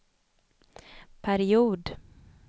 period